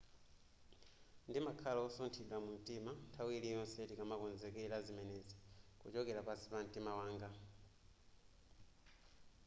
ndimakhala wosunthidwa mumtima nthawi iliyonse timakonzekera zimenezi kuchokera pansi pamtima wanga